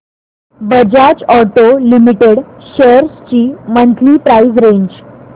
Bajaj auto limited shares ची monthly price range